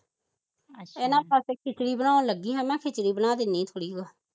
ਇਨ੍ਹਾਂ ਵਾਸਤੇ ਖਿਚੜੀ ਬਣਾਉਣ ਲੱਗੀ ਹਾ ਮੈਂ ਖਿਚੜੀ ਬਣਾ ਦੇਣੀ